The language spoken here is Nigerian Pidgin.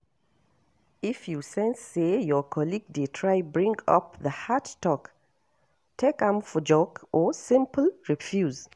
If you sense say your colleague de try bring up the heart talk take am joke or simple refuse